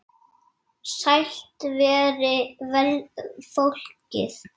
Sælt veri fólkið!